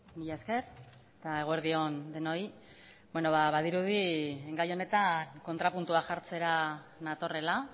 mila esker eta eguerdi on denoi badirudi gai honetan kontrapuntua jartzera natorrela